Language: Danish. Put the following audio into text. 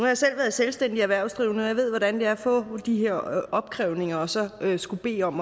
jeg selv været selvstændig erhvervsdrivende og jeg ved hvordan det er at få de her opkrævninger og så skulle bede om